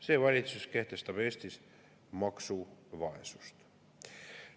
See valitsus kehtestab Eestis maksuvaesust.